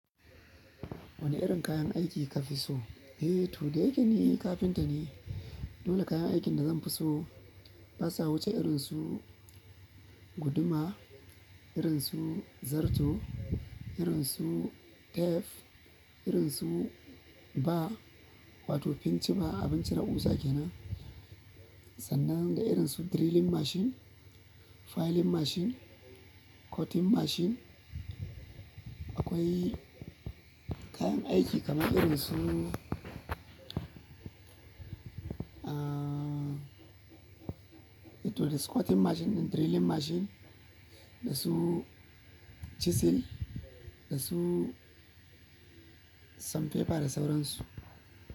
Wane irin kayan aiki kafi so? Eh, to dayake ni carpenter ne. Dole kayan aikin da zan fi so, basa wuce irin su guduma, irin su zarto, irin su tef, irin su ba, wato pincima abin cire ƙusa kenan. Sannan da irin su drilling machine, filing machine, cutting machine. Akwai kayan aiki kamar irin su, ahhh, eh to da squatting machine da drilling machine, da su chisel, da su sand paper da sauran su.